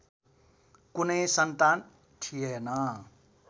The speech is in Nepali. कुनै सन्तान थिएन